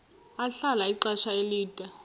ahlala ixesha elide